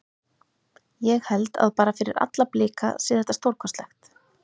Ég held að bara fyrir alla Blika sé þetta stórkostlegt.